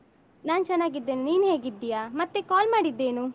ನಾನ್ ಚೆನ್ನಾಗಿದ್ದೇನೆ, ನೀನ್ ಹೇಗಿದ್ದೀಯಾ ಮತ್ತೆ call ಮಾಡಿದ್ದೇನು?